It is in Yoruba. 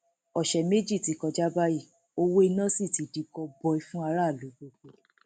ọsẹ méjì ti kọjá báyìí owó iná sì ti di gọbọi fún aráàlú gbogbo